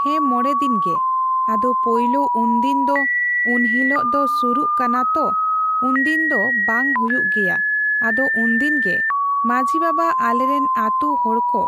ᱦᱮᱸ ᱢᱚᱲᱮᱫᱤᱱ ᱜᱮ ᱟᱫᱚ ᱯᱳᱭᱞᱳ ᱩᱱᱫᱤᱱᱫᱚ ᱩᱱᱦᱤᱞᱚᱜ ᱫᱚ ᱥᱩᱨᱩᱜ ᱠᱟᱱᱟᱛᱚ ᱩᱱᱫᱤᱱ ᱫᱚ ᱵᱟᱝ ᱦᱩᱭᱩᱜ ᱜᱮᱭᱟ ᱟᱫᱚ ᱩᱱᱫᱤᱱᱜᱮ ᱢᱟᱺᱡᱷᱤ ᱵᱟᱵᱟ ᱟᱞᱮᱨᱮᱱ ᱟᱛᱩ ᱦᱚᱲᱠᱩ